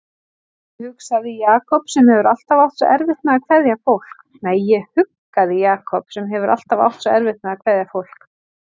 Ég huggaði Jakob sem hefur alltaf átt svo erfitt með að kveðja fólk.